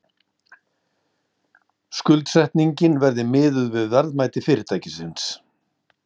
Skuldsetningin verði miðuð við verðmæti fyrirtækisins